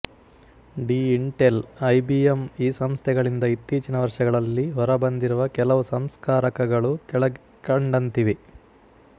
D Intel I B M ಈ ಸಂಸ್ಥೆಗಳಿಂದ ಇತ್ತೀಚಿನ ವರ್ಷಗಳಲ್ಲಿ ಹೊರಬಂದಿರುವ ಕೆಲವು ಸಂಸ್ಕಾರಕಗಳು ಕೆಳಕಂಡಂತಿವೆ